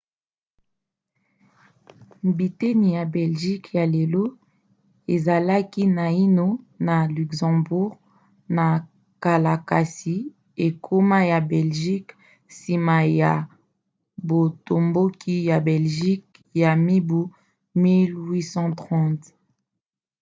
biteni ya belgique ya lelo ezalaki naino na luxembourg na kala kasi ekoma ya belgique nsima ya botomboki ya belgique ya mibu 1830